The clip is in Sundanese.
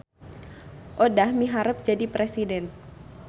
Odah miharep jadi presiden